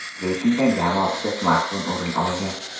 Reytingdan jami oltita smartfon o‘rin olgan.